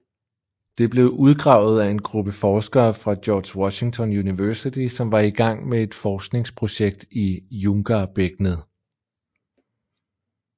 Det blev udgravet af en gruppe forskere fra George Washington University som var i gang med et forskningsprojekt i Junggarbækkenet